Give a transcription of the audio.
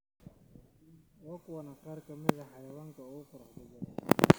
Waa kuwan qaar ka mid ah xayawaanka ugu quruxda badan.